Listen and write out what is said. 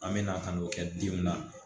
An mɛna ka n'o kɛ den na